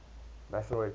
national red cross